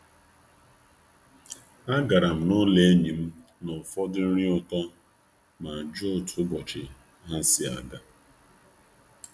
Agara m n'ụlọ enyi m na ụfọdụ nri ụtọ ma jụọ otu ụbọchị ha si aga.